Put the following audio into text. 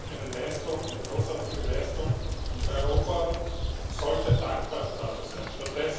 Das ist eine Leistung, eine großartige Leistung, und Europa sollte dankbar dafür sein.